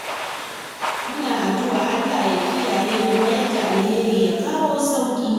Muna addu'ar Allah ya kiyaye ya mayar da alheri, ya kawo sauyi.